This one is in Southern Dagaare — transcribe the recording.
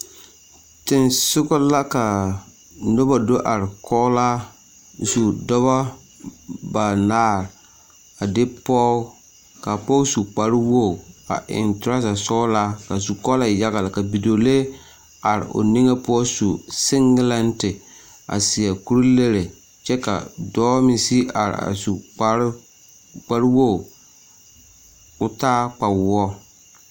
Tensogɔ la ka noba do are kɔgelaa zu, dɔbɔ banaare a de pɔge, k'a pɔge su kpare wogi a eŋ toraza sɔgelaa ka zukɔɔlɔ e yaga lɛ ka bidɔɔlee are o niŋe poɔ su segelɛnte a seɛ kuri-lere kyɛ ka dɔɔ meŋ sigi are a su kpare, kpare wogi k'o taa kpawoɔ.